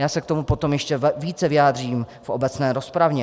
Já se k tomu potom ještě více vyjádřím v obecné rozpravě.